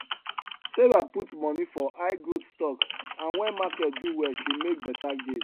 sarah put money for highgrowth stocks and when market do well she make better gain